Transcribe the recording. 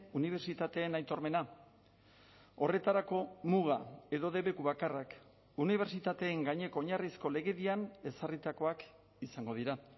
unibertsitateen aitormena horretarako muga edo debeku bakarrak unibertsitateen gaineko oinarrizko legedian ezarritakoak izango dira